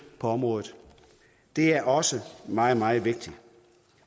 på området det er også meget meget vigtigt